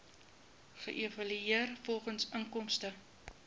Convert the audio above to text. geëvalueer volgens inkomste